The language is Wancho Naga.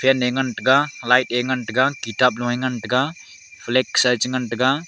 fan ye ngantaga light ye ngantaga kitab lu ye ngantaga flag sa ye hi ngantaga.